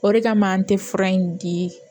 O de kama an tɛ fura in di